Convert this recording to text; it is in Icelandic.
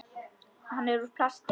Hann er úr plasti.